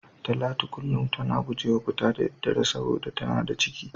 Talatu kullum tana gujewa fita da daddare saboda tana da ciki.